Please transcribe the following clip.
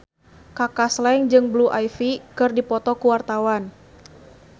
Kaka Slank jeung Blue Ivy keur dipoto ku wartawan